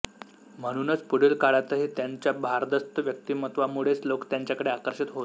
म्हणूनच पुढील काळातही त्यांच्या भारदस्त व्यक्तिमत्वामुळेच लोक त्यांच्याकडे आकर्षित होत